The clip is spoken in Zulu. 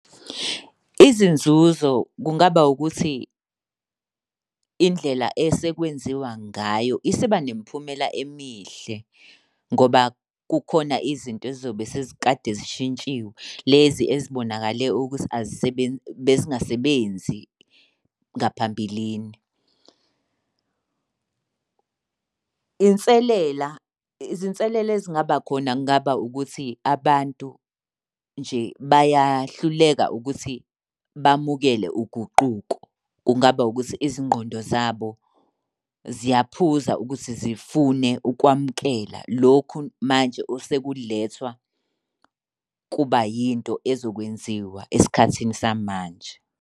Izinzuzo kungaba ukuthi indlela esekwenziwa ngayo isiba nemiphumela emihle ngoba kukhona izinto ezizobe sezikade zishintshiwe. Lezi ezibonakale ukuthi azisebenzi besingasebenzi ngaphambilini. Inselela, izinselela ezingaba khona kungaba ukuthi abantu nje bayahluleka ukuthi bamukele uguquko. Kungaba ukuthi izingqondo zabo ziyaphuza ukuthi zifune ukwamukela lokhu manje osekulethwa kuba yinto ezokwenziwa esikhathini samanje.